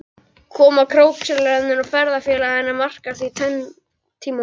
Koma krókskeljarinnar og ferðafélaga hennar markar því tvenn tímamót.